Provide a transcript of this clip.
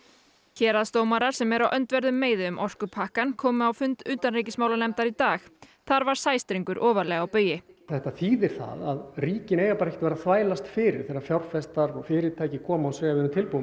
héraðsdómarar sem eru á öndverðum meiði um orkupakkann komu á fund utanríkismálanefndar í dag þar var sæstrengur ofarlega á baugi þetta þýðir það að ríkin eigi ekki að vera þvælast fyrir þegar fjárfestar og fyrirtæki koma og segja við erum tilbúin